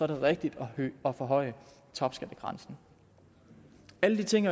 det rigtigt at forhøje topskattegrænsen alle de ting